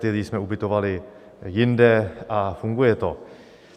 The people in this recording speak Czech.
Ty lidi jsme ubytovali jinde a funguje to.